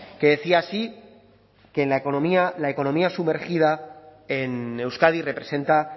que decía así que la economía sumergida en euskadi representa